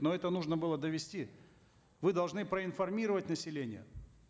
но это нужно было довести вы должны проинформировать население